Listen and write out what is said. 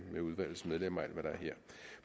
med udvalgets medlemmer